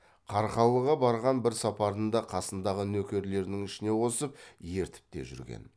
қарқаралыға барған бір сапарында қасындағы нөкерлерінің ішіне қосып ертіп те жүрген